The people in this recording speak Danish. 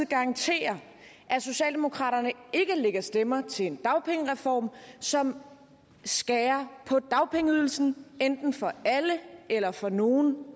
garantere at socialdemokraterne ikke lægger stemmer til en dagpengereform som skærer på dagpengeydelsen enten for alle eller for nogle